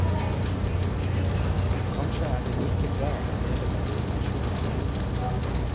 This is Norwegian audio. Kanskje er det like bra å leve med en dimensjon av lengsel?